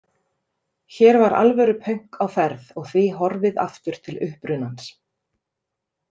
Hér var alvöru pönk á ferð og því horfið aftur til upprunans.